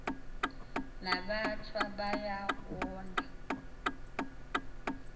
nabathwa kuba wona